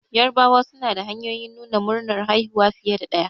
Yarabawa suna da hanyoyin nuna murnar haihuwa fiye da ɗaya